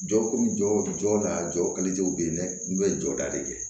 Jɔkun jɔ jɔ la jɔ kelenw be yen dɛ n'u be jɔda de kɛ